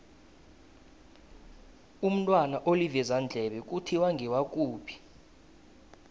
umntwana olivezandlebe kuthiwa ngewakuphi